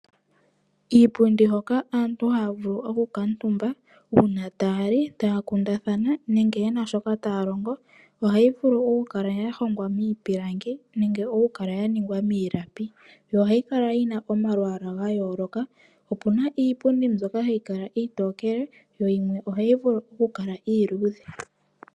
Iipundi hoka aantu haa vulu oku kantumbabu uuna taali, taa kundathana nenge yena shoka taa longa ohayi vulu okukala ya hongwa miipilangi, nenge okukala ya ningwa miilapi, yo ohayi kala yina omalwaala gayooloka, opuna iipundi mbyoka hayi kala iitokele yo yimwe ohayi vulu okukala iiludhe.